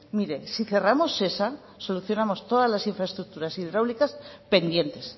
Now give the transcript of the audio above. mire si cerramos esa solucionamos todas las infraestructuras hidráulicas pendientes